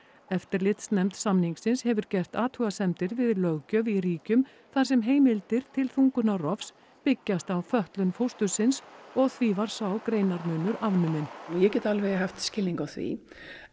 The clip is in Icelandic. eftirlitsnefnd samningsins hefur gert athugasemdir við löggjöf í ríkjum þar sem heimildir til þungunarrofs byggjast á fötlun fóstursins og því var sá greinarmunur afnuminn ég get alveg haft skilning á því